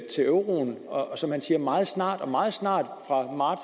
til euroen og som han siger meget snart meget snart fra